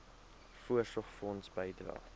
voorsorgfonds bydrae